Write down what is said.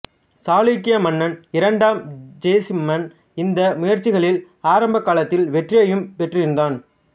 சாளுக்கிய மன்னன் இரண்டாம் ஜெயசிம்மன் இந்த முயற்சிகளில் ஆரம்ப காலத்தில் வெற்றியும் பெற்றிருந்தான்